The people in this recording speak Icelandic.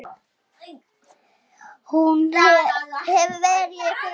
Hún hefur verið í öðru.